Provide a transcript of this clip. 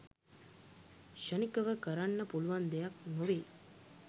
ක්‍ෂණිකව කරන්න පුළුවන් දෙයක් නොවෙයි.